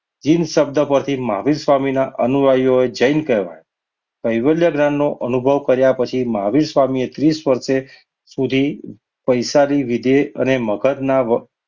જીન શબ્દ પરથી મહાવીર સ્વામીના અનુયાયીઓ જૈન કહેવાયા. કૈવલ્ય જ્ઞાનનો અનુભવ કર્યા પછી મહાવીર સ્વામીએ ત્રીસ વર્ષે સુધી વૈશાખી લીધી અને મગજના